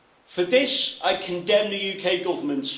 For this, I condemn the UK Government.